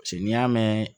paseke n'i y'a mɛn